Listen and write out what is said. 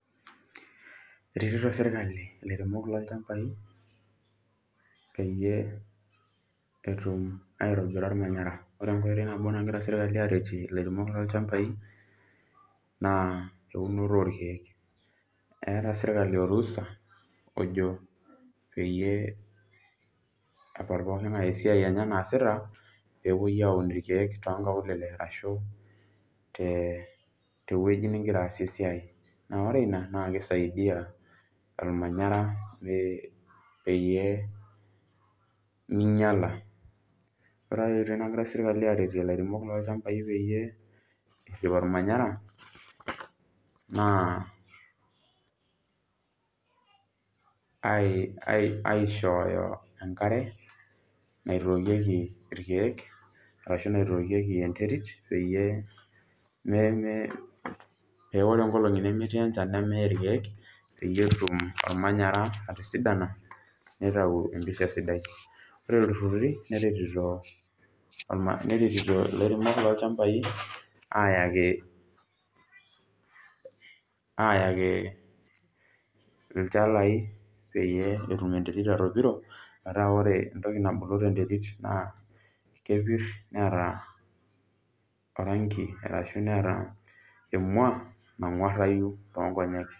Eretito serkali laremok lolchambai peyie etum aitobira ormanyara ore enkoitoi nagira serkali aretie laremok lolchambai na eunoto orkiek eeta serkali orusa ojo peepal pooki ngae esiai enye naasita pepuoi aun irkiek tonkaulele ashu tewoi nilobaasie esiai na ore ina nakisaidia ormanyara pemeinyala ore enkai toki nagira serkali aretoki laremok lolchambai peyie erip ormanyara na aishooyo enkare naitokieki enterit peyie pa ore enkolongi nemetii enchan nemeye irkiek petumoki ormanyara atisidana nitau empisha sidai ore ltururu neretito lairemok lolchambai ayaki ayaki lchalai peyiebetum enterit atipiro metaaa ore entoki napuku tenterit na kepir neeta orangi ashu neeta emua nangwarayu tonkonyek.